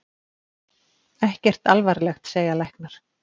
Ekkert alvarlegt segja læknar.